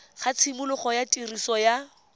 ga tshimologo ya tiriso ya